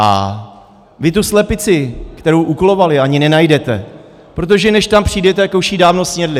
A vy tu slepici, kterou uklovaly, ani nenajdete, protože než tam přijdete, tak už ji dávno snědly.